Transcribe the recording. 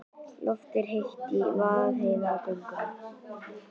Loftið er heitt í Vaðlaheiðargöngum.